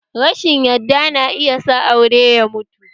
Rashin yadda na iya sa aure ya mutu